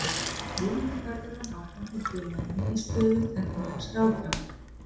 Vonandi verður hann áfram hjá félaginu í stöðu tæknilegs ráðgjafa.